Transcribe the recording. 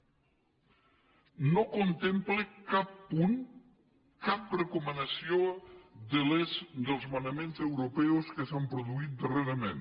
no contempla cap punt cap recomanació dels manaments europeus que s’han produït darrerament